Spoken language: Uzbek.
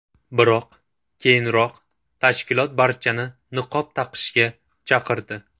Biroq keyinroq tashkilot barchani niqob taqishga chaqirdi.